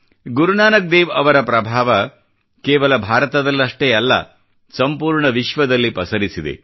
ಗುರುನಾನಕ್ ದೇವ್ ರವರ ಪ್ರಭಾವ ಕೇವಲ ಭಾರತದಲ್ಲಷ್ಟೇ ಅಲ್ಲ ಸಂಪೂರ್ಣ ವಿಶ್ವದಲ್ಲಿ ಪಸರಿಸಿದೆ